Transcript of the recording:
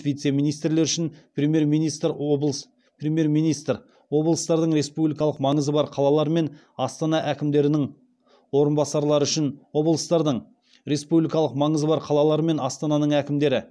вице министрлер үшін премьер министр облыстардың республикалық маңызы бар қалалар мен астана әкімдерінің орынбасарлары үшін облыстардың республикалық маңызы бар қалалар мен астананың әкімдері